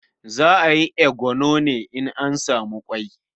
Za a yi eguro ne in an samu ƙwai.